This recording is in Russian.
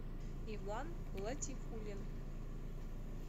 иван латифуллин